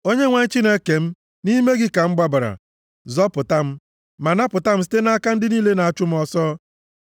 Onyenwe anyị Chineke m, nʼime gị ka m gbabara; zọpụta m, ma napụta m site nʼaka ndị niile na-achụ m ọsọ,